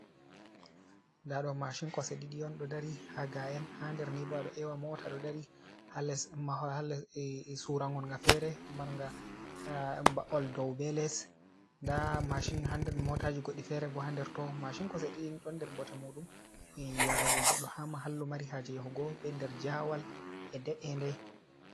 Nda ɗo mashin kosɗe ɗiɗi on ɗo dari ha ga'enn ha nder ni bado ewa mota ɗo dari surangolga fere marnga ba’ol dou be les nda mashin ha de motaji goɗɗi fere bo ha nder to machin kosɗe ɗiɗi don nder bote mudum yarugo goɗɗo hama hallu mari haje yahugobe nder jawal e de’ede.